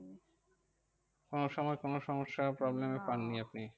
কোনো সময় কোনো সমস্যা problem এ পাননি আপনি?